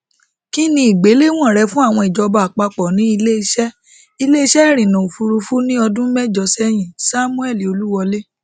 ki ni igbelewọn rẹ fun ijọba apapọ ni ileiṣẹ ileiṣẹ irinna ofurufu ni ọdun mẹjọ sẹyin samuel oluwole